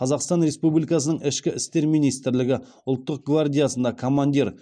қазақстан республикасының ішкі істер министрлігі ұлттық гвардиясында командир үшіншісі саят әскери қызметкер ефрейтор